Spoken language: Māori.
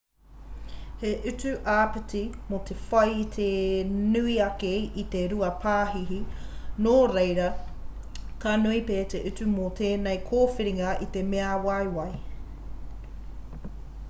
he utu āpiti mō te whai i te nui ake i te 2 pāhihi nō reira ka nui pea te utu mō tēnei kōwhiringa i te mea waiwai